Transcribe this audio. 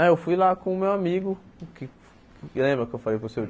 Ah, eu fui lá com o meu amigo, que lembra que eu falei com o senhor.